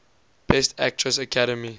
best actress academy